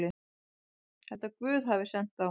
Held að Guð hafi sent þá.